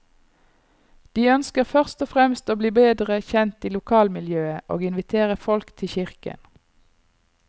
De ønsker først og fremst å bli bedre kjent i lokalmiljøet og invitere folk til kirken.